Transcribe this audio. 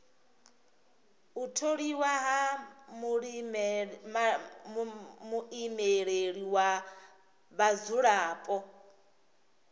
u tholiwa ha muimeleli wa vhadzulapo